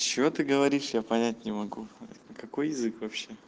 что ты говоришь я понять не могу какой язык